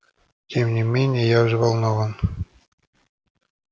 тем не менее я взволнован